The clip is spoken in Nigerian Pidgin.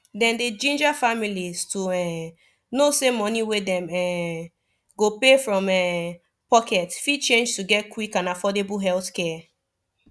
dem dey ginger families to um know say money wey dem um go pay from um pocket fit change to get quick and affordable healthcare